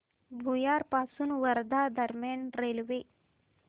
भुयार पासून वर्धा दरम्यान रेल्वे